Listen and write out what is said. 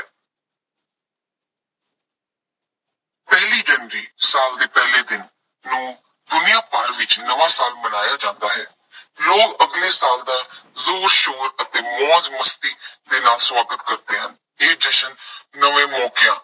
ਪਹਿਲੀ ਜਨਵਰੀ ਸਾਲ ਦੇ ਪਹਿਲੇ ਦਿਨ ਨੂੰ ਦੁਨੀਆ ਭਰ ਵਿੱਚ ਨਵਾਂ ਸਾਲ ਮਨਾਇਆ ਜਾਂਦਾ ਹੈ। ਲੋਕ ਅਗਲੇ ਸਾਲ ਦਾ ਜ਼ੋਰ ਸ਼ੋਰ ਅਤੇ ਮੌਜ ਮਸਤੀ ਦੇ ਨਾਲ ਸਵਾਗਤ ਕਰਦੇ ਹਨ। ਇਹ ਜਸ਼ਨ ਨਵੇਂ ਮੌਕਿਆਂ